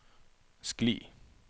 skli